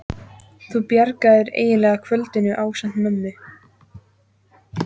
Þú bjargaðir eiginlega kvöldinu ásamt mömmu.